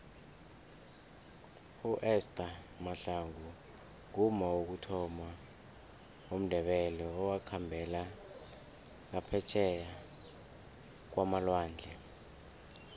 uester mahlangu ngumma wokuthoma womndebele owakhambela ngaphetjheya kwamalwandle